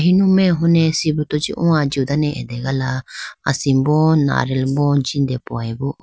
enume hone sibruto chee o ajiw dane ategala asimbo nariyal bo jindepowayi bo.